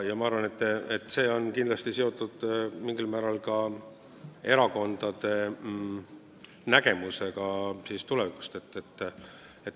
Ma arvan, et see on kindlasti mingil määral seotud ka erakondade tulevikunägemusega.